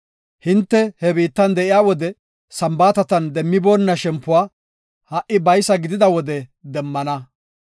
Hinte he biittan de7iya wode Sambaatatan demmiboonna shempuwa ha77i baysa gidida wode demmana.